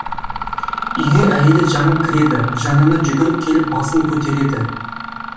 үйге әйелі жаңыл кіреді жанына жүгіріп келіп басын көтереді